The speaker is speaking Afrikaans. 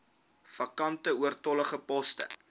vakante oortollige poste